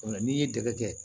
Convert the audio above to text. O la n'i ye dɛgɛ